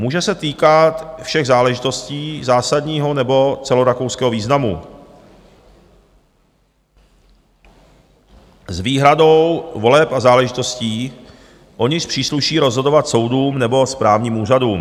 Může se týkat všech záležitostí zásadního nebo celorakouského významu s výhradou voleb a záležitostí, o nichž přísluší rozhodovat soudům nebo správním úřadům.